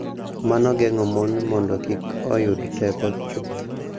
Mano geng�o mon mondo kik oyud teko chuth,